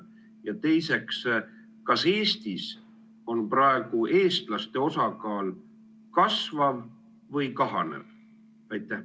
Ja teiseks, kas Eestis on praegu eestlaste osakaal kasvav või kahanev?